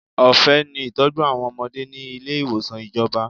Ọ̀fẹ́ ni ìtọ́jú àwọn ọmọdé ni ilé ìwòsàn ìjọba.